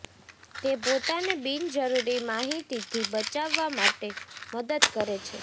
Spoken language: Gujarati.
તે પોતાને બિનજરૂરી માહિતીથી બચાવવા માટે મદદ કરે છે